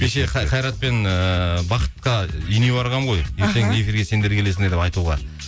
кеше қайратпен ыыы бақытқа үйіне барғанмын ғой эфирге сендер келесіңдер деп айтуға